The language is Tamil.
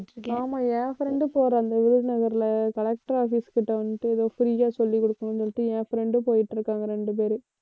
ஆமா என் friend போற இந்த விருதுநகர்ல collector office கிட்ட வந்துட்டு எதோ free யா சொல்லிக் குடுக்கணும்ன்னு சொல்லிட்டு என் friend ம் போயிட்டு இருக்காங்க இரண்டு பேரு.